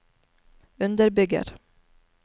underbygger